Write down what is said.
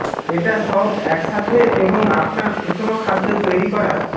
এটা সব একসাথে এবং আপনার সুষম খাদ্য তৈরি করা